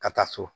Ka taa so